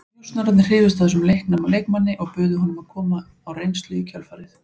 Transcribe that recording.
Njósnararnir hrifust af þessum leikna leikmanni og buðu honum að koma á reynslu í kjölfarið.